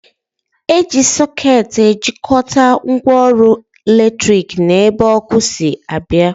Eji sọket ejikwata ngwaọrụ latrik n'ebe ọkụ si abịa